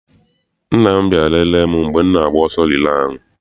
Nna m bịara lele m mgbe m na-agba ọsọ rilee ahụ.